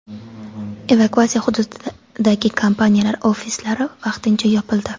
Evakuatsiya hududidagi kompaniyalar ofislari vaqtincha yopildi.